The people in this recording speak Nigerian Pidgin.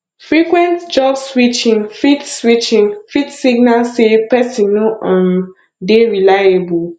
frequent job switching fit switching fit signal sey person no um dey reliable